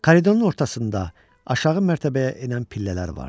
Koridorun ortasında aşağı mərtəbəyə enən pillələr vardı.